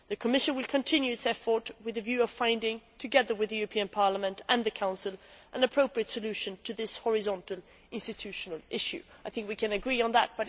The Commission will continue its efforts with a view to finding, together with the European Parliament and the Council, an appropriate solution to this horizontal institutional issue'. I think we can agree on this.